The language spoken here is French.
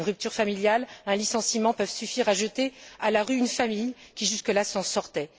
Une rupture familiale, un licenciement peuvent suffire à jeter à la rue une famille qui, jusque là s'en sortait.